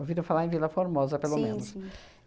falar em Vila Formosa, pelo menos. Sim, sim.